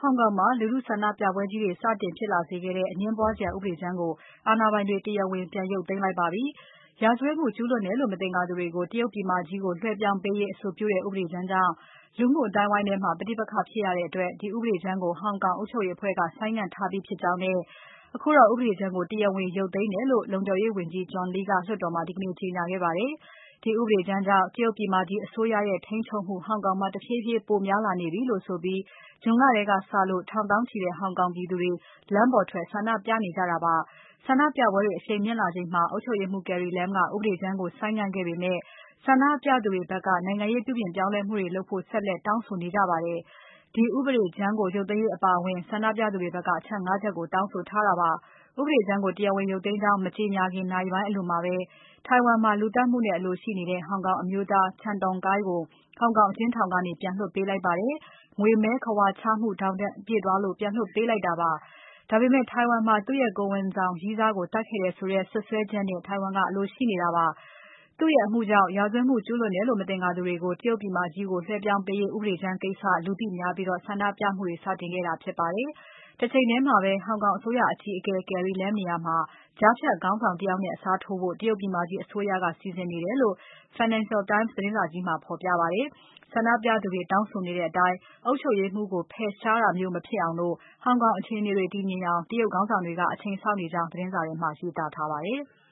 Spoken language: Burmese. ောင်မှာ လူထုဆန္ဒပြပွဲကြီးတွေ စတင်ဖြစ်လာစေခဲ့တဲ့ အငြင်းပွားစရာ ဥပဒေကြမ်းကို အာဏာပိုင်တွေ တရားဝင်ပြန် ရုပ်သိမ်းလိုက်ပါပြီ။ ရာဇဝတ်မှု ကျူးလွန်တယ်လို့ မသင်္ကာသူတွေကို တရုတ်ပြည်မကြီးကို လွှဲပြောင်းပေးရေး အဆိုပြုတဲ့ ဥပဒေကြမ်းကြောင့် လူမှုအသိုင်းအဝိုင်းထဲမှာ ပဋိပက္ခဖြစ်ရတဲ့အတွက် ဒီဥပဒေကြမ်းကို ဟောင်ကောင်အုပ်ချုပ်ရေးအဖွဲ့က ဆိုင်းငံ့ထားပြီးဖြစ်ကြောင်းနဲ့ အခုတော့ ဥပဒေကြမ်းကို တရားဝင် ရုပ်သိမ်းတယ်လို့ လုံခြုံရေးဝန်ကြီး John Lee ကလွှတ်တော်မှာ ဒီကနေ့ ကြေညာခဲ့ပါတယ်။ ဒီဥပဒေကြမ်းကြောင့် တရုတ်ပြည်မကြီး အစိုးရရဲ့ ထိန်းချုပ်မှု ဟောင်ကောင်မှာ တဖြည်းဖြည်းပိုများလာနေပြီလို့ဆိုပြီး ဇွန် လထဲကစလို့ ထောင်သောင်းချီတဲ့ ဟောင်ကောင်ပြည်သူတွေ လမ်းပေါ်ထွက် ဆန္ဒပြနေကြတာပါ။ ဆန္ဒပြပွဲတွေ အရှိန်မြင့်လာချိန်မှာ အုပ်ချုပ်ရေးမှူး Carrie Lam ကဥပဒေကြမ်းကို ဆိုင်းငံ့ခဲ့ပေမဲ့ ဆန္ဒပြသူတွေဘက်က နိုင်ငံရေးပြုပြင်ပြောင်းလဲမှုတွေလုပ်ဖို့ ဆက်လက်တောင်းဆိုနေကြပါတယ်။ ဒီဥပဒေကြမ်း ရုပ်သိမ်းရေးအပါအဝင် ဆန္ဒပြသူတွေဘက်က အချက် ငါး ချက်ကို တောင်းဆိုထားတာပါ။ ဥပဒေကြမ်းကို တရားဝင်ရုပ်သိမ်းကြောင်း မကြေညာခင် နာရီပိုင်းအလိုမှာ ထိုင်ဝမ်မှာ လူသတ်မှုနဲ့ အလိုရှိနေတဲ့ ဟောင်ကောင်အမျိုးသား Chan Tong-kai ကို ဟောင်ကောင်အကျဉ်းထောင်ကနေ ပြန်လွှတ်ပေးလိုက်ပါတယ်။ ငွေမည်းခဝါ ချမှုထောင်ဒဏ်ပြည့်သွားလို့ ပြန်လွှတ်ပေးတာပါ။ ဒါပေမဲ့ ထိုင်ဝမ်မှာ သူ့ရဲ့ ကိုယ်ဝန်ဆောင်ရည်းစားကို သတ်ခဲ့တယ်ဆိုတဲ့ စွပ်စွဲချက်နဲ့ ထိုင်ဝမ်က အလိုရှိနေပါတယ်။ သူ့ရဲ့အမှုကြောင့် ရာဇဝတ်မှု ကျူးလွန်တယ်လို့ မသင်္ကာသူတွေကို တရုတ်ပြည်မကြီးကို လွှဲပြောင်းပေးရေးဥပဒေကြမ်းကိစ္စ လူသိများပြီး ဆန္ဒပြမှုတွေ စတင်ခဲ့တာ ဖြစ်ပါတယ်။ တချိန်ထဲမှာပဲ ဟောင်ကောင်အစိုးရအကြီးအကဲ Carrie Lam နေရာမှာ ကြားဖြတ်ခေါင်းဆောင်တယောက်နဲ့ အစားထိုးဖို့ တရုတ်ပြည်မကြီးအစိုးရက စီစဉ်နေတယ်လို့ Financial Times သတင်းစာထဲမှာ ဖော်ပြခဲ့ပါတယ်။ ဆန္ဒပြသူတွေတောင်းဆိုနေတဲ့အတိုင်း အုပ်ချုပ်ရေးမှူးကို ဖယ်ရှားတာလို့ မဖြစ်အောင် ဟောင်ကောင်အခြေအနေတွေ တည်ငြိမ်အောင် တရုတ်ခေါင်းဆောင်တွေက အချိန်စောင့်နေကြောင်း သတင်းစာထဲမှာ ရေးသားထားပါတယ်။